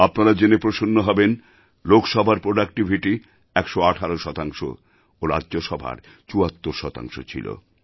আপনারা জেনে প্রসন্ন হবেন লোকসভার প্রোডাক্টিভিটি ১১৮ শতাংশ ও রাজ্যসভার ৭৪ শতাংশ ছিল